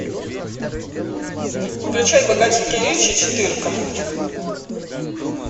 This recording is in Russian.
включай богатенький ричи четырка